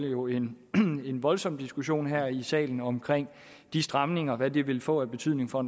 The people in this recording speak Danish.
jo en voldsom diskussion her i salen om de stramninger og hvad de vil få af betydning for